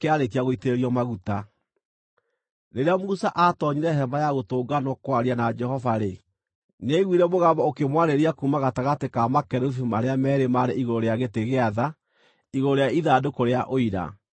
Rĩrĩa Musa atoonyire Hema-ya-Gũtũnganwo kwaria na Jehova-rĩ, nĩaiguire mũgambo ũkĩmwarĩria kuuma gatagatĩ ka makerubi marĩa meerĩ maarĩ igũrũ rĩa gĩtĩ gĩa tha, igũrũ rĩa ithandũkũ rĩa Ũira. Nake Jehova akĩmwarĩria.